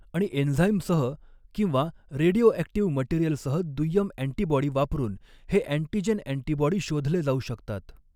आणि एन्झाईमसह किंवा रेडिओऍक्टिव्ह मटेरियलसह दुय्यम अँटीबॉडी वापरुन हे अँटीजेन अँटीबॉडी शोधले जाऊ शकतात.